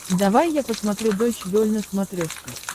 давай я посмотрю дойч вель на смотрешке